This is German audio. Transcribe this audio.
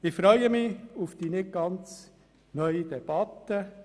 Ich freue mich auf die nicht ganz neue Debatte.